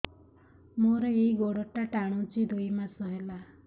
ମୋର ଏଇ ଗୋଡ଼ଟା ଟାଣୁଛି ଦୁଇ ମାସ ହେଲା